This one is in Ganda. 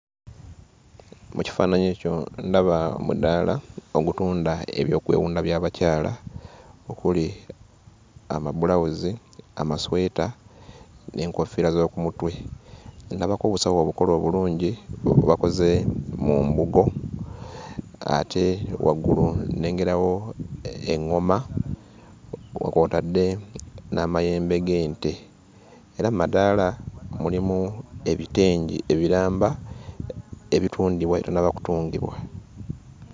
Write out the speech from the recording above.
Mu kifaananyi ekyo ndaba omudaala ogutunda ebyokwewunda by'abakyala okuli amabulawuzi, amasweta n'enkofiira z'oku mutwe. Ndabako obusawo obukole obulungi bwe bakoze mu mbugo ate waggulu nnengerawo eŋŋoma nga kw'otadde n'amayembe g'ente. Era mu madaala mulimu ebitengi ebiramba ebitundibwa ebitannaba kutungibwa.